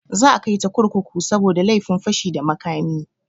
Za a kaita kurkuku saboda laifin fashi da makami.